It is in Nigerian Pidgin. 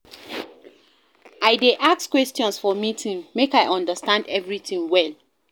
I dey ask questions for meeting, make I understand everytin well.